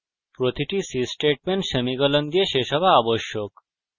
প্রতিটি c statement semicolon ; দিয়ে শেষ হওয়া আবশ্যক